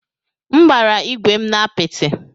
M gbara ígwè m na apịtị.